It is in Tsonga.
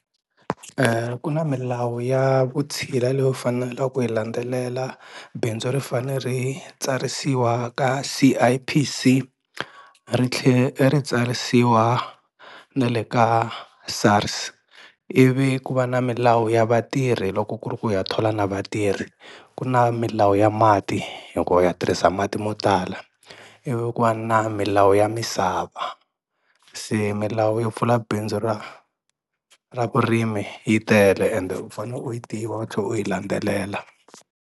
Ku na milawu ya vutshila leyo fanela ku yi landzelela bindzu ri fanele ri tsarisiwa ka C_I_P_C ri tlhe ri tsarisiwa na le ka SARS ivi ku va na milawu ya vatirhi loko ku ri ku u ya thola na vatirhi ku na milawu ya mati hi ku u ya tirhisa mati mo tala ivi ku va na milawu ya misava se milawu yo pfula bindzu ra ra vurimi yi tele ende u fane u yi tiva tlhe u yi landzelela.